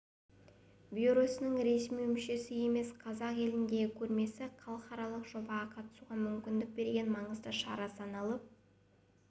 бюросының ресми мүшесі емес қазақ еліндегі көрмесі халықаралық жобаға қатысуға мүмкіндік берген маңызды шара саналып